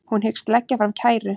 Hún hyggst leggja fram kæru